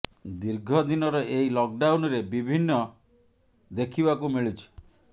ଦୀର୍ଘଦିନର ଏହି ଲକ୍ ଡାଉନରେ ବିଭିନ୍ନ ସମାସ୍ୟା ଦେଖିବାକୁ ମିଳୁଛି